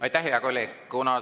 Aitäh, hea kolleeg!